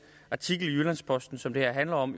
artikel i jyllands posten som det her handler om